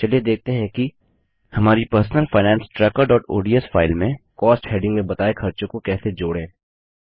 चलिए देखते हैं कि कैसे हमारी पर्सनल फाइनेंस trackerओडीएस फाइल में कॉस्ट हेडिंग में बताए खर्चों को कैसे जोड़ें